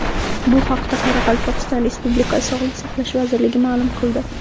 Bu haqda Qoraqalpog‘iston Respublikasi Sog‘liqni saqlash vazirligi ma’lum qildi .